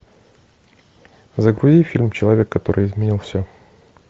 загрузи фильм человек который изменил все